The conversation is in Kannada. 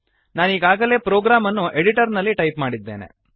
ನಾನೀಗಾಗಲೇ ಪ್ರೊಗ್ರಾಮ್ ಅನ್ನು ಎಡಿಟರ್ ನಲ್ಲಿ ಟೈಪ್ ಮಾಡಿದ್ದೇನೆ